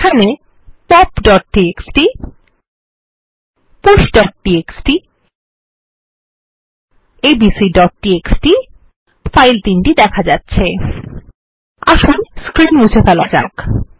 এখানে popটিএক্সটি pushটিএক্সটি এবং abcটিএক্সটি ফাইল দেখা যাচ্ছে আসুন স্ক্রীন মুছে ফেলা যাক